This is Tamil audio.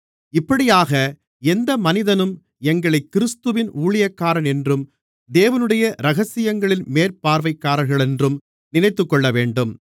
இப்படியாக எந்த மனிதனும் எங்களைக் கிறிஸ்துவின் ஊழியக்காரன் என்றும் தேவனுடைய இரகசியங்களின் மேற்பார்வைக்காரர்களென்றும் நினைத்துக்கொள்ளவேண்டும்